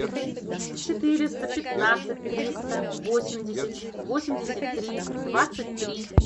четыреста пятнадцать триста восемьдесят восемьдесят три двадцать три